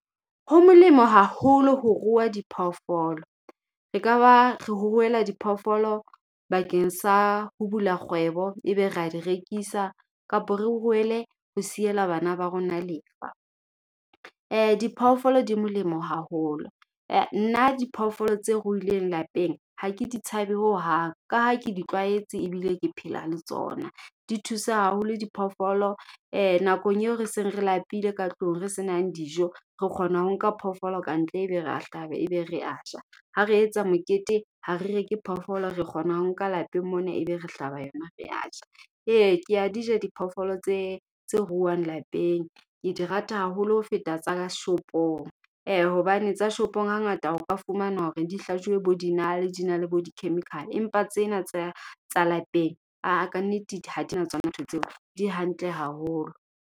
Ho molemo haholo ho rua diphoofolo. Re ka ba, re ruela diphoofolo bakeng sa ho bula kgwebo, e be re a di rekisa. Kapa re ruele ho siela bana ba rona lefa. Diphoofolo di molemo haholo. Nna diphoofolo tse ruhileng lapeng, ha ke di tshabe ho hang. Ka ha ke ditlwaetse ebile ke phela le tsona. Di thusa haholo diphoofolo. Nakong eo re seng re lapile ka tlung re senang dijo. Re kgona ho nka phoofolo ka ntle, ebe re hlaba ebe re aja. Ha re etsa mokete, hare reke phoofolo, re kgona ho nka lapeng mona, ebe re hlaba yona re aja. Eya ke a dija diphoofolo tse tse ruilweng lapeng, ke di rata haholo ho feta tsa shopong. Eya hobane tsa shopong ha ngata o ka fumana hore di hlajiwe bo dinale, di na le bo di-chemical. Empa tsena tsa tsa lapeng aa ka nnete ha dina tsona ntho tseo, di hantle haholo.